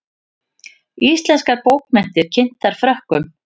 Íslenskar bókmenntir kynntar Frökkum